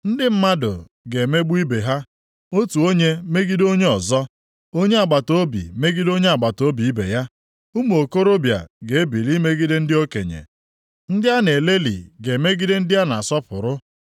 Ndị mmadụ ga-emegbu ibe ha, otu onye megide onye ọzọ, onye agbataobi megide onye agbataobi ibe ya. Ụmụ okorobịa ga-ebili megide ndị okenye, ndị a na-elelị ga-emegide ndị a na-asọpụrụ.